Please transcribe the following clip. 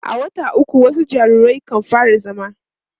a wata ukwu wasu jariran kan fara zama